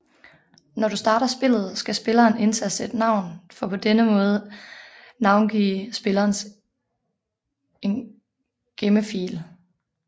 Når du starter spillet skal spilleren indtaste et navn for på denne måde navngive spillerens en gemmefil